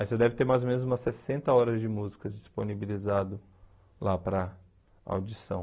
Aí você deve ter mais ou menos umas sessenta horas de músicas disponibilizadas lá para audição.